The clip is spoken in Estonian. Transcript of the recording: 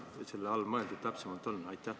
Või mida selle all täpsemalt mõeldud on?